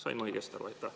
Sain ma õigesti aru?